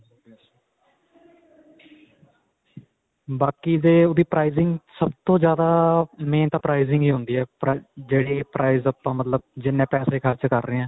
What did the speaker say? ਬਾਕੀ ਦੇ ਓਹਦੀ pricing ਸਭ ਤੋਂ ਜਿਆਦਾ main ਤਾਂ pricing ਹੀ ਹੁੰਦੀ ਹੈ, ਜਿਹੜੀ price ਆਪਾਂ ਮਤਲਬ ਜਿੰਨੇ ਪੈਸੇ ਖ਼ਰਚ ਕਰ ਰਹੇ ਹਾਂ.